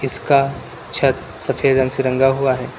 इसका छत सफेद रंग से रंगा हुआ है।